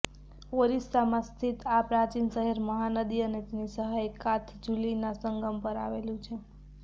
ઓરિસ્સામાં સ્થિત આ પ્રાચીન શહેર મહાનદી અને તેની સહાયક કાથજુલીના સંગમ પર આવેલું છે